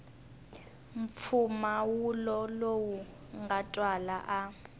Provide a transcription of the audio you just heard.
mpfumawulo lowu nga twala a